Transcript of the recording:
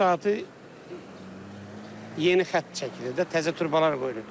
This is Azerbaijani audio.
İndi bu saatı yeni xətt çəkilib, təzə turbalar qoyulur.